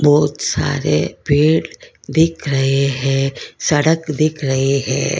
बहुत सारे पेड़ दिख रहे हैं सड़क देख रहे हैं।